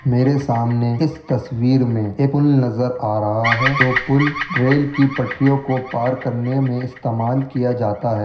मेरे सामने इस तस्वीर एक पुल नज़र आ रहा है जो पुल रेल की पटरियों को पार करने में इस्तेमाल किया जाता है।